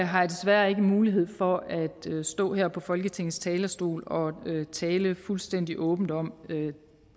har jeg desværre ikke mulighed for at stå her på folketingets talerstol og tale fuldstændig åbent om det